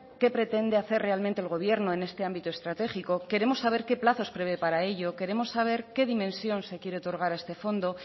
qué pretende hacer realmente el gobierno en este ámbito estratégico queremos saber qué plazos prevé para ello queremos saber qué dimensión se quiere otorgar a este fondo